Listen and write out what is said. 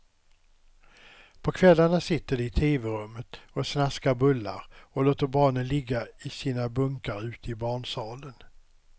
På kvällarna sitter de i teverummet och snaskar bullar, och låter barnen ligga i sina bunkar ute i barnsalen.